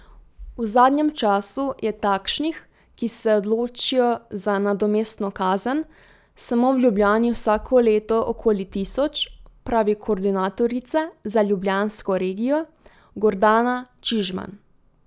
V zadnjem času je takšnih, ki se odločijo za nadomestno kazen, samo v Ljubljani vsako leto okoli tisoč, pravi koordinatorica za ljubljansko regijo Gordana Čižman.